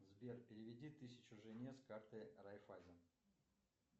сбер переведи тысячу жене с карты райффайзен